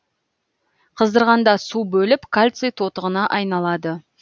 қыздырғанда су бөліп кальций тотығына айналады